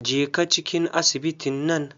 Jeka cikin asibitin nan.